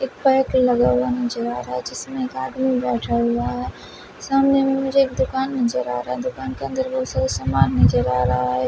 एक बाइक लगा हुआ नजर आ रहा है जिसमें एक आदमी बैठा हुआ है सामने में मुझे एक दुकान नजर आ रहा है दुकान के अंदर बहुत सारे सामान नजर आ रहा है।